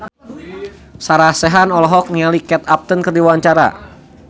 Sarah Sechan olohok ningali Kate Upton keur diwawancara